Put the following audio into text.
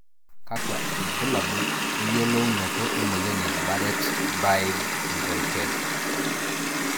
kakwa ilbulabul oyiolounoto emoyian e Bardet Biedl sydrome 10?